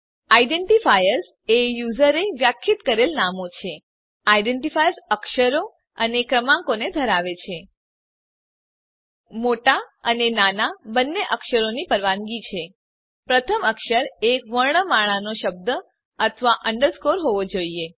identifiers એ યુઝરે વ્યાખ્યાયિત કરેલ નામો છે આઇડેન્ટિફાયર અક્ષરો અને ક્રમાંકોને ધરાવે છે મોટા અને નાના બંને અક્ષરોની પરવાનગી છે પ્રથમ અક્ષર એક વર્ણમાળાનો શબ્દ અથવા અંડરસ્કોર હોવો જોઈએ